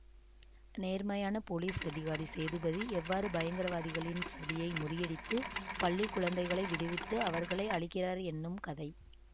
நேர்மையான போலீஸ் அதிகாரி சேதுபதி எவ்வாறு பயங்கரவாதிகளின் சதியை முறியடித்து பள்ளி குழந்தைகளை விடுவித்து அவர்களை அழிக்கிறார் என்னும் கதை